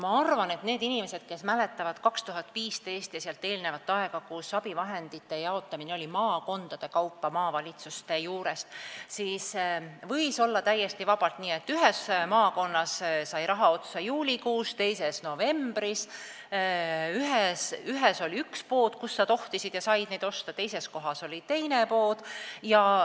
Ma arvan, et need inimesed, kes mäletavad 2015. aastat ja sellele eelnevat aega, kui abivahendite jaotamine toimus maakondade kaupa maavalitsuste juures, teavad, et siis võis olla täiesti vabalt nii, et ühes maakonnas sai raha otsa juulis, teises novembris, ühes kohas oli üks pood, kus sa tohtisid ja said neid abivahendeid osta, teises kohas oli teine pood.